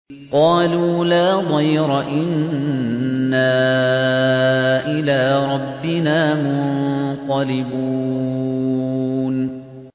قَالُوا لَا ضَيْرَ ۖ إِنَّا إِلَىٰ رَبِّنَا مُنقَلِبُونَ